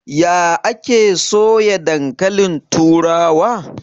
Ya ake soya dankalin turawa?